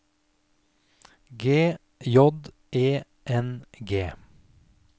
G J E N G